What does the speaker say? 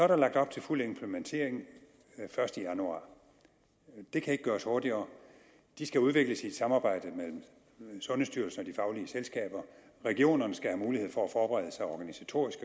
der lagt op til fuld implementering første januar det kan ikke gøres hurtigere de skal udvikles i et samarbejde mellem sundhedsstyrelsen og de faglige selskaber regionerne skal have mulighed for at forberede sig organisatorisk